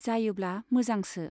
जायोब्ला मोजांसो।